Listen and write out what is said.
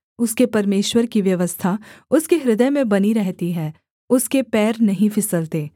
उसके परमेश्वर की व्यवस्था उसके हृदय में बनी रहती है उसके पैर नहीं फिसलते